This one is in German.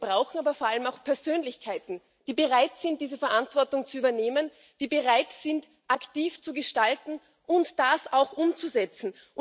Wir brauchen aber vor allem auch Persönlichkeiten, die bereit sind, diese Verantwortung zu übernehmen, die bereit sind, aktiv zu gestalten und das auch umzusetzen.